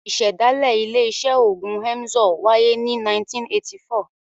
Ìṣẹ̀dálẹ̀ ilé-iṣẹ́ òògùn Emzor wáyé ní 1984.